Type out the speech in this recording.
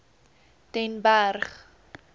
den berg